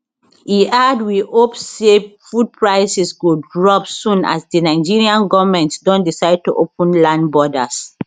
e add we hope say food prices go drop soon as di nigerian goment don decide to open land borders